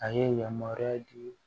A ye yamaruya di